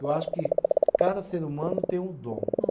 Eu acho que cada ser humano tem um dom.